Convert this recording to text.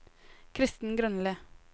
Kristen Grønli